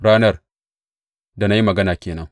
Ranar da na yi magana ke nan.